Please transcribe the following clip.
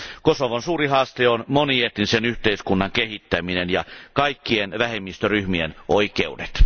Kosovon suuri haaste on monietnisen yhteiskunnan kehittäminen ja kaikkien vähemmistöryhmien oikeudet.